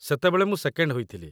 ସେତେବେଳେ ମୁଁ ସେକେଣ୍ଡ୍ ହୋଇଥିଲି ।